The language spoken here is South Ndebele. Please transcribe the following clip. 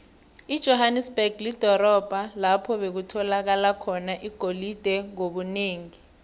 ijohanesberg lidorobho lapho bekutholakala khona igolide ngobunengi